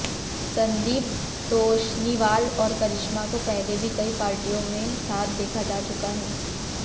संदीप तोषनीवाल और करिश्मा को पहले भी कई पार्टियों में साथ देखा जा चुका है